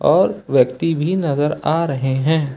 और व्यक्ति भी नजर आ रहे हैं।